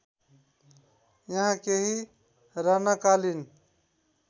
यहाँ केही राणाकालीन